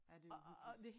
Ja det uhyggeligt